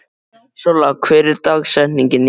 Solla, hver er dagsetningin í dag?